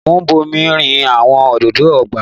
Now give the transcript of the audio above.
Mo ń bomi rin àwọn òdòdó ọgbà.